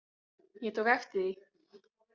Ég tók eftir því.